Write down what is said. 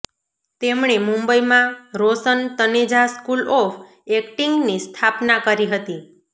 તેમણે મુંબઈમાં Roshan Taneja school of એક્ટિંગની સ્થાપના કરી હતી